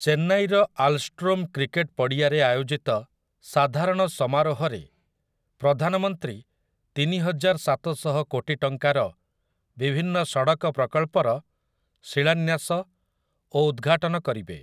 ଚେନ୍ନାଇର ଆଲଷ୍ଟ୍ରୋମ୍ କ୍ରିକେଟ୍ ପଡ଼ିଆରେ ଆୟୋଜିତ ସାଧାରଣ ସମାରୋହରେ ପ୍ରଧାନମନ୍ତ୍ରୀ ତିନିହଜାର ସାତଶହ କୋଟି ଟଙ୍କାର ବିଭିନ୍ନ ସଡ଼କ ପ୍ରକଳ୍ପର ଶିଳାନ୍ୟାସ ଓ ଉଦ୍‌ଘାଟନ କରିବେ ।